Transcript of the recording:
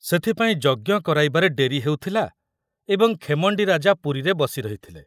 ସେଥିପାଇଁ ଯଜ୍ଞ କରାଇବାରେ ଡେରି ହେଉଥିଲା ଏବଂ ଖେମଣ୍ଡି ରାଜା ପୁରୀରେ ବସି ରହିଥିଲେ।